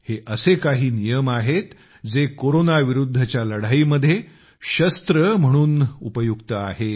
हे असे काही नियम आहेत जे कोरोना विरुद्धच्या लढाईमध्ये शस्त्र म्हणून उपयुक्त आहेत